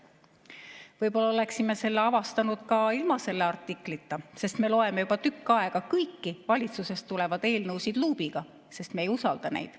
Võib-olla oleksime selle avastanud ka ilma selle artiklita, sest me loeme juba tükk aega kõiki valitsusest tulevaid eelnõusid luubiga, sest me ei usalda neid.